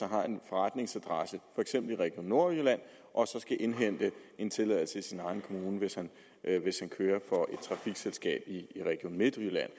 har en forretningsadresse i for eksempel region nordjylland skal indhente en tilladelse i sin egen kommune hvis han kører for et trafikselskab i region midtjylland